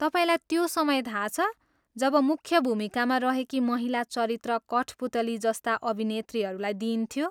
तपाईँलाई त्यो समय थाहा छ, जब मुख्य भूमिकामा रहेकी महिला चरित्र कठपुतली जस्ता अभिनेत्रीहरूलाई दिइन्थ्यो?